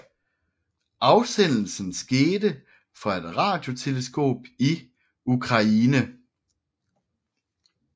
Afsendelsen skete fra et radioteleskop i Ukraine